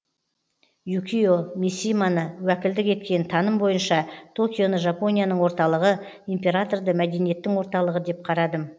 юкио мисиманы уәкілдік еткен таным бойынша токионы жапонияның орталығы императорды мәдениеттің орталығы деп қарадым